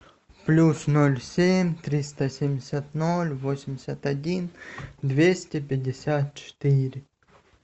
плюс ноль семь триста семьдесят ноль восемьдесят один двести пятьдесят четыре